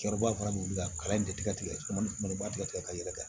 Cɛkɔrɔba fana b'u bila kalan in de tigɛ ma ni mananba tigɛ tigɛ ka yɛlɛ kɛ